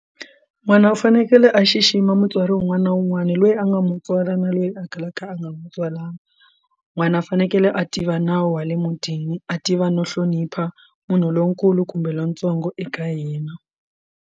N'wana u fanekele a xixima mutswari wun'wana na wun'wana loyi a nga mo tswala na loyi a kalaka a nga n'wi tswala n'wana a fanekele a tiva nawu wa le mutini a tiva no hlonipha munhu lonkulu kumbe lontsongo eka hina.